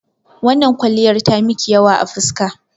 Wannan kwalliyar ta miki yawa a fuska.